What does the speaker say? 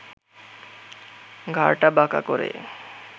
ঘাড়টা বাঁকা করে